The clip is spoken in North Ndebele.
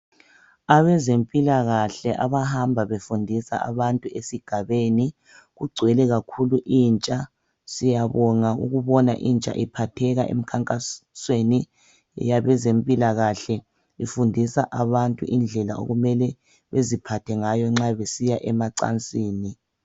Abezempilakahle abahamba befundisa abantu esigabeni kugcwele kakhulu intsha. Siyabonga ukubona intsha iphatheka emkhankasweni yabezempilakahle ifundisa abantu indlela okumele beziphathe ngayo nxa besiya emacansini.